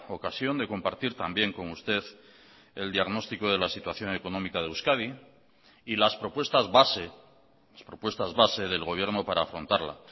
ocasión de compartir también con usted el diagnóstico de la situación económica de euskadi y las propuestas base las propuestas base del gobierno para afrontarla